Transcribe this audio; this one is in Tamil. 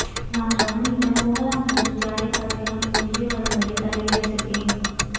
நான் ரமணியிடம் போகலாம் என்று ஜாடைகாட்டி அவனை உள்ளே வரும்படி தலையசைத்தேன்